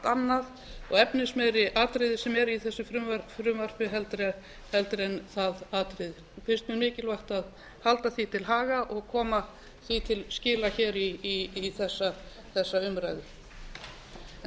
annað og efnismeiri atriði sem eru í þessu frumvarpi en það atriði finnst mér mikilvægt að halda því til haga og koma því til skila hér í þessa umræðu